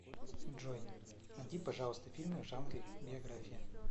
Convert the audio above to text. джой нади пожалуйста фильмы в жанре биография